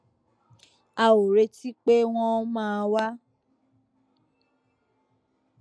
a ò retí pé wón máa wá